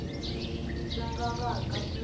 swi nga vaka swi ri